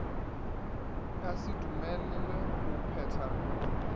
ka se dumelelwe go phetha